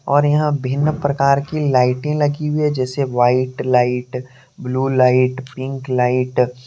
और यहां भिन्न प्रकार की लाइटें लगी हुई है जैसे white light blue light pink light.